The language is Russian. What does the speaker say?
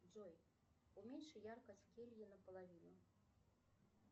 джой уменьши яркость в келье наполовину